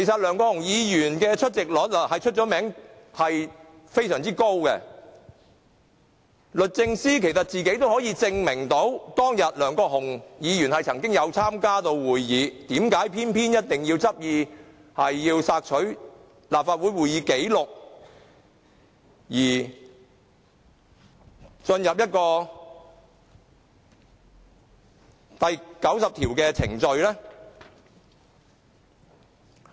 梁國雄議員的出席率以高見稱，律政司其實可以有其他方法證明梁議員當天曾經參加會議，為何偏要執意索取立法會會議紀錄而進入第90條的程序呢？